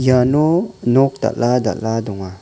iano nok dal·a dal·a donga.